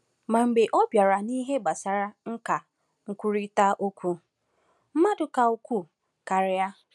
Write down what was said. Ma mgbe ọ bịara n’ihe gbasara nkà nkwurịta okwu, mmadụ ka ukwuu karịa.